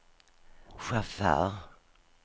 chaufför